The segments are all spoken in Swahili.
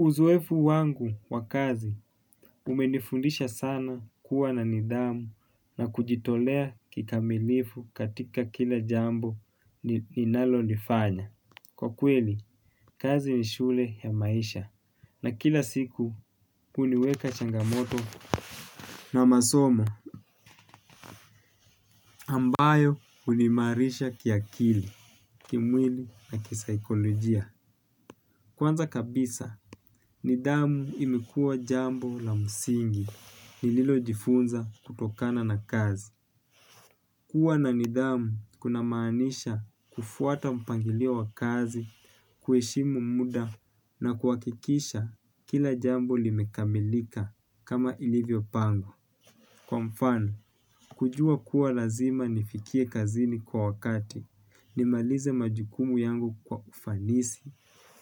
Uzoefu wangu wa kazi umenifundisha sana kuwa na nidhamu na kujitolea kikamilifu katika kila jambo ninalonifanya. Kwa kweli kazi ni shule ya maisha na kila siku kuliweka changamoto la masomo amabayo huimarisha kiakili kimwili na kisaikolojia kwanza kabisa nidhamu imekuwa jambo la msingi nililojifunza kutokana na kazi. Kua na nidhamu kunamaanisha kufuata mpangilio wa kazi, kueshimu muda na kuhakikisha kila jambo limekamilika kama ilivyopangwa. Kwa mfano, kujua kuwa lazima nifikie kazini kwa wakati, nimalize majukumu yangu kwa ufanisi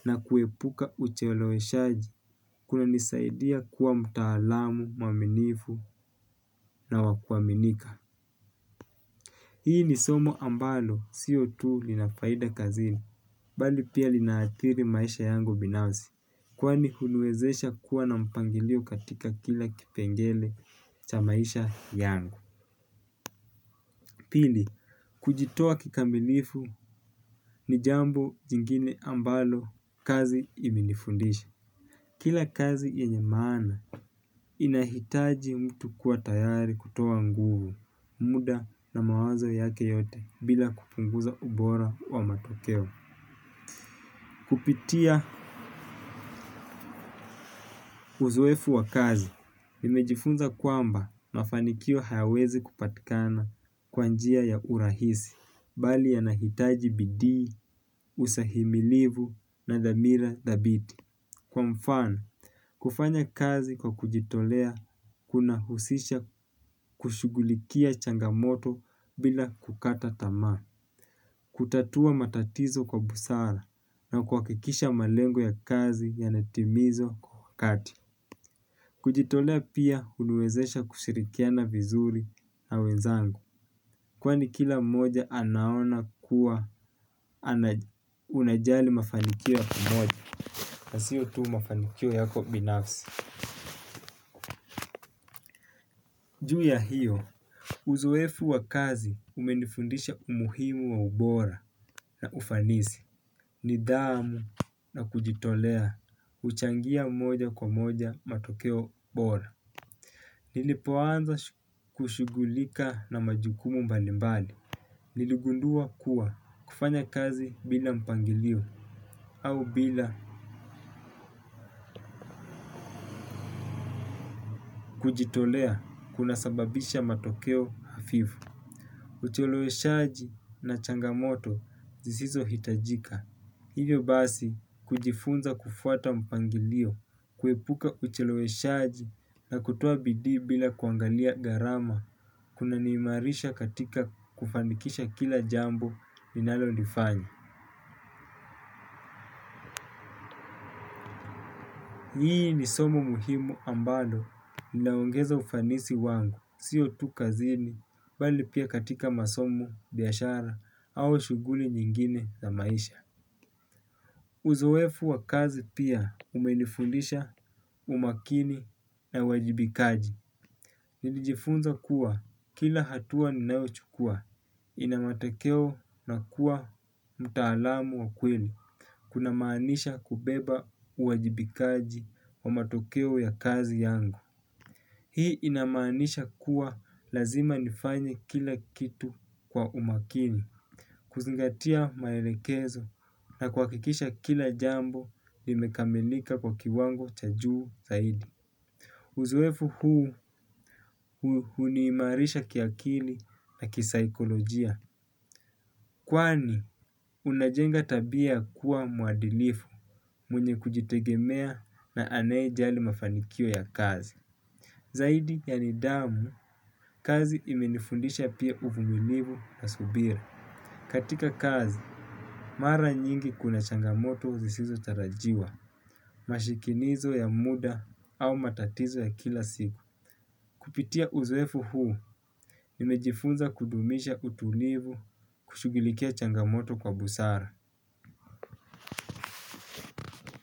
na kuepuka ucheeleweshaji kunanisaidia kuwa mtaalamu, mwaminifu na wa kuaminika. Hii ni somo ambalo sio tuh lina faida kazini, bali pia linaathiri maisha yangu binafsi, kwani huniwezesha kuwa na mpangilio katika kila kipengele cha maisha yangu. Pili, kujitoa kikamilifu ni jambo jingine ambalo kazi imenifundisha. Kila kazi yenye maana inahitaji mtu kuwa tayari kutoa nguvu muda na mawazo yake yote bila kupunguza ubora wa matokeo. Kupitia uzoefu wa kazi, nimejifunza kwamba mafanikio hayawezi kupatikana kwa njia ya urahisi, bali yanahitaji bidii, usahimilivu na dhamira dhabiti. Kwa mfano, kufanya kazi kwa kujitolea kunahusisha kushugulikia changamoto bila kukata tamaa. Kutatua matatizo kwa busara na kuhakikisha malengo ya kazi yanatimizwa kwa wakati. Kujitolea pia huniwezesha kushirikiana vizuri na wenzangu. Kwani kila mmoja anaona kuwa anajali mafanikio ya kimoja. Nasio tu mafanikio yako binafsi. Juu ya hiyo, uzoefu wa kazi umenifundisha umuhimu wa ubora na ufanisi. Nidhamu na kujitolea, huchangia mmoja kwa moja matokeo bora. Nilipoanza kushughulika na majukumu mbalimbali. Niligundua kuwa kufanya kazi bila mpangilio, au bila kujitolea kunasababisha matokeo hafifu. Ucheleweshaji na changamoto zisizohitajika. Hiyo basi kujifunza kufuata mpangilio, kuepuka ucheleweshaji na kutoa bidii bila kuangalia gharama kuna niimarisha katika kufanikisha kila jambo ninalolifanya. Hii ni somo muhimu ambalo ninaongeza ufanisi wangu, siyo tu kazini, bali pia katika masomo, biashara au shughuli nyingine za maisha. Uzoefu wa kazi pia umenifundisha umakini na uwajibikaji. Nilijifunza kuwa kila hatua ninaochukua ina matekeo na kuwa mtaalamu wa kweli. Kuna maanisha kubeba uwajibikaji wa matokeo ya kazi yangu. Hii inamanisha kuwa lazima nifanye kila kitu kwa umakini. Kuzingatia maelekezo na kuhakikisha kila jambo nimekamilika kwa kiwango cha juu zaidi. Uzoefu huu huniimarisha kiakili na kisaikolojia. Kwani unajenga tabia kuwa mwadilifu mwenye kujitegemea na aneyejali mafanikio ya kazi. Zaidi ya nidhamu kazi imenifundisha pia uvumilivu na subira. Katika kazi, mara nyingi kuna changamoto uzisizotarajiwa, mashikinizo ya muda au matatizo ya kila siku. Kupitia uzoefu huu, nimejifunza kudumisha utulivu kushugilikia changamoto kwa busara.